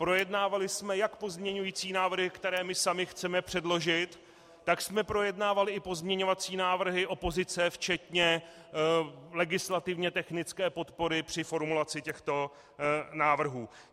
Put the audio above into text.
Projednávali jsme jak pozměňující návrhy, které my sami chceme předložit, tak jsme projednávali i pozměňovací návrhy opozice včetně legislativně technické podpory při formulaci těchto návrhů.